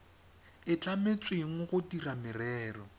e tlametsweng go dira merero